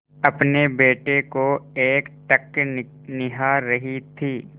अपने बेटे को एकटक निहार रही थी